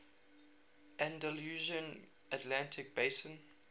andalusian atlantic basin